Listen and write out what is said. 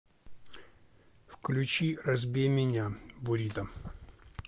включи разбей меня бурито